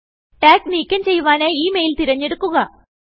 tag നീക്കം ചെയ്യുവാനായി ഈ മെയിൽ തെരഞ്ഞെടുക്കുക